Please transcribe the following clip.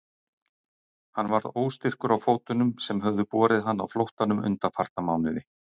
Hann varð óstyrkur á fótunum sem höfðu borið hann á flóttanum undanfarna mánuði.